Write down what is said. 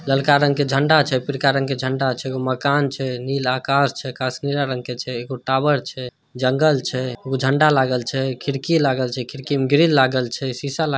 लालका रंग का झंडा छे पीलका रंग का झंडा छे मकान छे नीला कार छे कांच पीला के छे टावर छे जंगल छे झंडा लागल छे खिड़की लागल छे खिड़की में ग्रील लागल छे शीसा लाग--